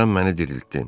Sən məni diriltdin.